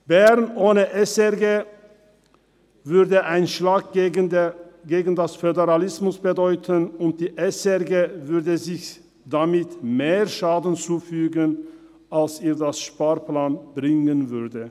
Bern ohne SRG wäre ein Schlag gegen den Föderalismus, und die SRG würde sich damit mehr Schaden zufügen als sie durch Einsparungen gewinnen könnte.